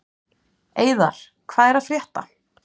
Eiðar, hvað er að frétta?